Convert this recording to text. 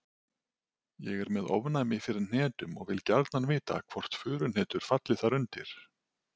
Ég er með ofnæmi fyrir hnetum og vil gjarnan vita hvort furuhnetur falli þar undir.